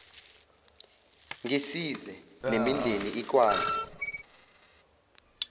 ngisize nemindeni ikwazi